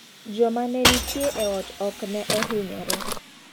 Jama ne nitie e ot ok ne ohinyore,.